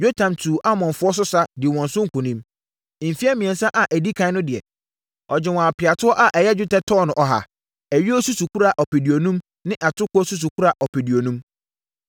Yotam tuu Amonfoɔ so sa, dii wɔn so nkonim. Mfeɛ mmiɛnsa a ɛdi ɛkan no deɛ, ɔgyee wɔn apeatoɔ a ɛyɛ dwetɛ tɔno 3.4, ayuo susukora ɔpeduonum ne atokoɔ susukora ɔpeduonum.